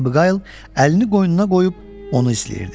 Miss Abiqayıl əlini qoynuna qoyub onu izləyirdi.